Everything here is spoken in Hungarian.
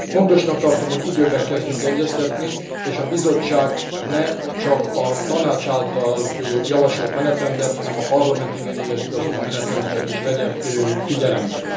Fontosnak tartom, hogy időben kezdjünk egyeztetni, és a Bizottság ne csak a Tanács által javasolt menetrendet, hanem a Parlament igényeihez igazodó menetrendeket is vegye figyelembe.